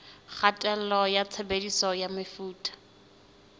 kgatello ya tshebediso ya mefuta